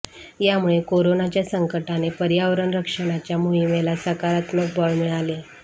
यामुळे करोनाच्या संकटाने पर्यावरण रक्षणाच्या मोहिमेला सकारात्मक बळ मिळाले